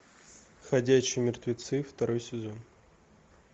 ходячие мертвецы второй сезон